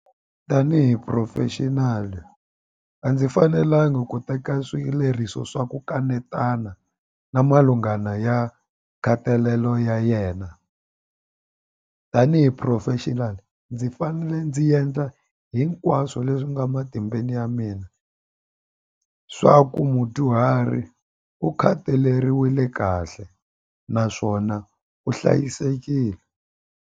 Tanihi professional a ndzi fanelanga ku teka swileriso swa ku kanetana na malungana ya nkhatalelo ya yena tanihi professional ndzi fanele ndzi endla hinkwaswo leswi nga matimbeni ya mina swa ku mudyuhari u khataleriwile kahle naswona u hlayisekile.